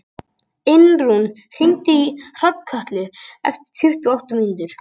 Einrún, hringdu í Hrafnkötlu eftir tuttugu og átta mínútur.